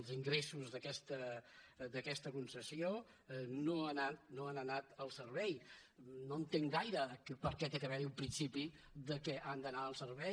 els ingressos d’aquesta concessió no han anat al servei no entenc gaire per què ha d’haver hi un principi que han d’anar al servei